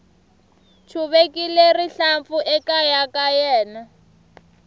chuvekile rihlampfu ekaya ka yena